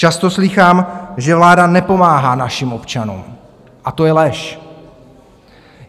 Často slýchám, že vláda nepomáhá našim občanům, a to je lež.